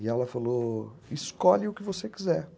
E ela falou, escolhe o que você quiser.